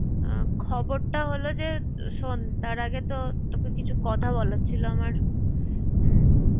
খবরটা হল যে শোন তার আগে তো তোকে কিছু কথা বলার ছিল আমার।